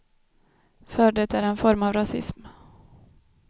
För det är en form av rasism.